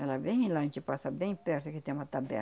Ela vem, passa bem perto, que tem uma